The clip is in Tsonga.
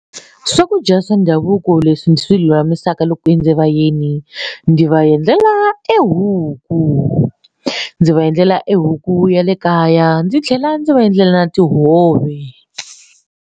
Swakudya swa ndhavuko leswi ndzi swi lulamisaka loko ku endze vayeni ndzi va endlela tihuku ndzi va endlela e huku ya le kaya ndzi tlhela ndzi va endlela na tihove.